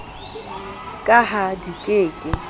ka ha di ke ke